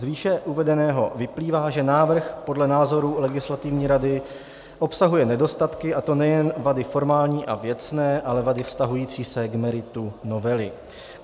Z výše uvedeného vyplývá, že návrh podle názoru legislativní rady obsahuje nedostatky, a to nejen vady formální a věcné, ale vady vztahující se k meritu novely.